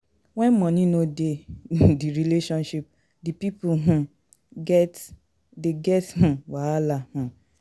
When money no de [um]di relationship di pipo um de get wahala um